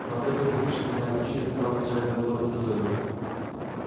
но от этой привычки меня отучили в самом начале работы в дозоре